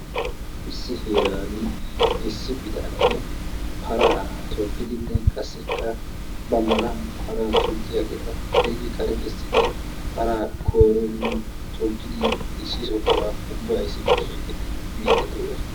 issi heerani issi bitanee paraa togidinne qasikka ba mala paraa toggiyaageeta xeegi kare kessidi paraa kooridi togiidi issi sohuwa ubbay issippe biidi de'oosona.